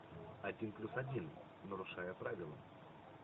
один плюс один нарушая правила